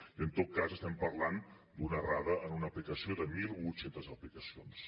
i en tot cas estem parlant d’una errada en una aplicació de mil vuit cents aplicacions